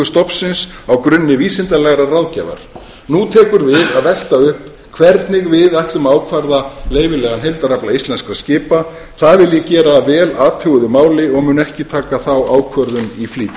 stofnsins á grunni vísindalegrar ráðgjafar nú tekur við að velta upp hvernig við ætlum að ákvarða leyfilegan heildarafla íslenskra skipa það vil ég gera að vel athuguðu máli og mun ekki taka þá ákvörðun í flýti